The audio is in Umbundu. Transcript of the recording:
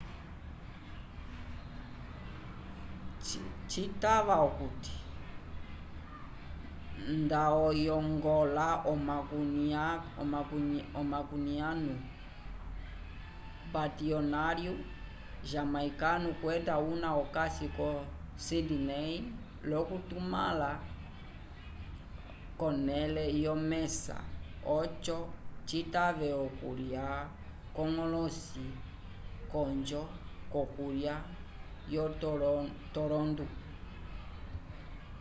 citava okuti nda oyongola o-macuniano bastionário jamaicano kwenda una okasi ko sydney l'okutumãla k'onẽle yomesa oco citave okulya k'oñgolõsi k'onjo yokulya yo-toronto